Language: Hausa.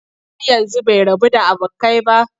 Har yanzu bai rabu da abokai ba?